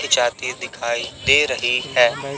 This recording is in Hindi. जाती दिखाई दे रही है।